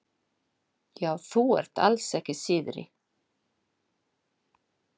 Já, þú ert alls ekki síðri.